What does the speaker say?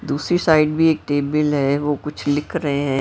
दूसरी साइड भी एक टेबल है वो कुछ लिख रहे हैं।